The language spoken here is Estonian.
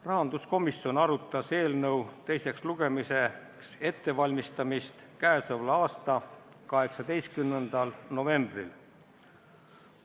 Rahanduskomisjon arutas eelnõu teiseks lugemiseks ettevalmistamist k.a 18. novembril.